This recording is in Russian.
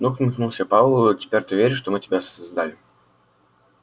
ну ухмыльнулся пауэлл теперь-то ты веришь что мы тебя создали